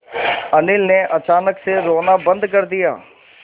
अनिल ने अचानक से रोना बंद कर दिया